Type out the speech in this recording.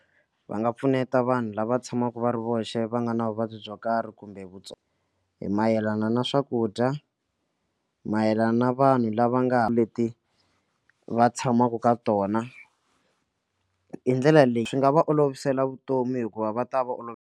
Va nga pfuneta vanhu lava tshamaka va ri voxe va nga na vuvabyi byo karhi kumbe vutivi hi mayelana na swakudya mayelana na vanhu lava nga leti va tshamaka ka tona hi ndlela leyi swi nga va olovisela vutomi hikuva va ta va olovela.